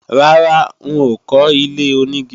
Rárá, n ò kọ́ ilé-onígi